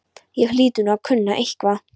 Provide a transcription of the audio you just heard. Ég hlyti nú að kunna eitthvað.